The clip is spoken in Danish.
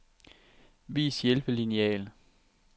Vis hjælpelineal.